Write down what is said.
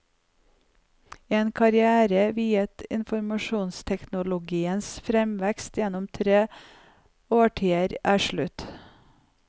En karrière viet informasjonsteknologiens fremvekst gjennom tre årtier er slutt.